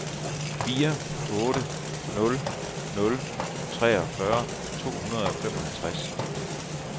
fire otte nul nul treogfyrre to hundrede og femoghalvtreds